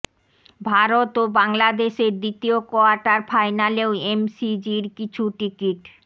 ভারত ও বাংলাদেশের দ্বিতীয় কোয়ার্টার ফাইনালেও এমসিজির কিছু টিকিট